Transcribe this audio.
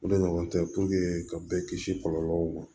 O de ɲɔgɔn tɛ ka bɛɛ kisi kɔlɔlɔw ma